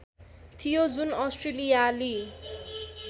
थियो जुन अस्ट्रेलियाली